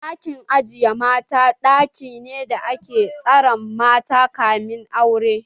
Ɗakin aje ƴan mata ɗaki ne da ake tsare mata kamin aure.